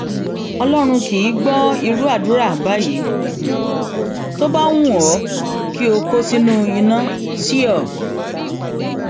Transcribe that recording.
ọlọrun kì í gbọ irú àdúrà báyìí tó bá wù ọ um kí o kó sínú iná sío um